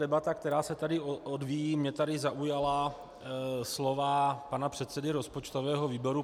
Debata, která se tady odvíjí - mě tady zaujala slova pana předsedy rozpočtového výboru.